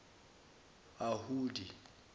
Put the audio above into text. ahudi